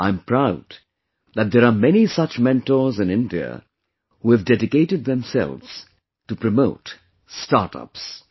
I am proud that there are many such mentors in India who have dedicated themselves to promote Startups